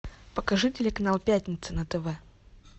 покажи телеканал пятница на тв